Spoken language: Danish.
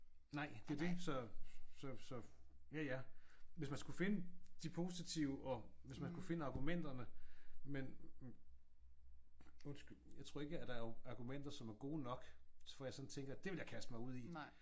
Nej. Det er jo det så så så ja ja hvis man skulle finde de positive og hvis man skulle finde argumenterne men undskyld jeg tror ikke der er argumenter som er gode nok hvor jeg sådan ville tænke det vil jeg kaste mig ud i